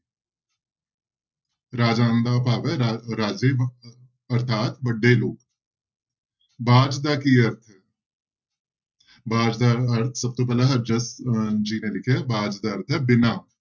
ਰਾਜਾਨ ਦਾ ਭਾਵ ਹੈ ਰਾ ਰਾਜੇ ਅਰਥਾਤ ਵੱਡੇ ਲੋਕ ਬਾਝ ਦਾ ਕੀ ਅਰਥ ਬਾਝ ਦਾ ਅਰ ਸਭ ਤੋਂ ਪਹਿਲਾਂ ਹਜ਼ਰਤ ਜੀ ਨੇ ਲਿਖਿਆ ਬਾਝ ਦਾ ਅਰਥ ਹੈ ਬਿਨਾਂ।